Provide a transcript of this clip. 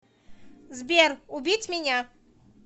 сбер убить меня